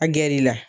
A gɛrɛ i la